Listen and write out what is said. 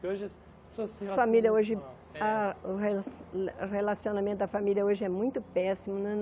Porque hoje... A família hoje... Ah o rela ah o relacionamento da família hoje é muito péssimo.